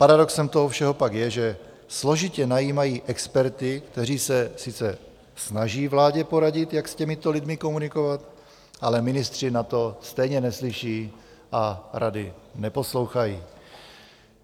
Paradoxem toho všeho pak je, že složitě najímají experty, kteří se sice snaží vládě poradit, jak s těmito lidmi komunikovat, ale ministři na to stejně neslyší a rady neposlouchají.